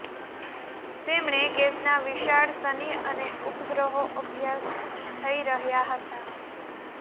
તેમણે ગેસના વિશાળ શનિ અને ઉપગ્રહો અભ્યાસ થઇ રહ્યા હતા